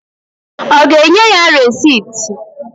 Ọ ga-enye ya resit?